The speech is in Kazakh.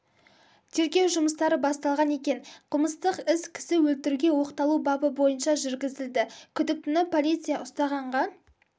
тергеу жұмыстары басталған екен қылмыстық іс кісі өлтіруге оқталу бабы бойынша жүргізілді күдіктіні полиция ұстағанға